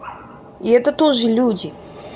и это тоже люди